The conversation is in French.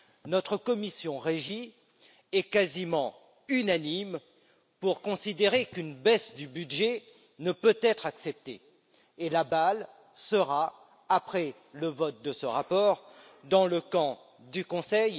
Notre commission du développement régional est quasiment unanime pour considérer qu'une baisse du budget ne peut être acceptée et la balle sera, après le vote de ce rapport, dans le camp du Conseil